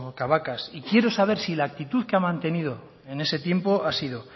cabacas y quiero saber si la actitud que ha mantenido en ese tiempo ha sido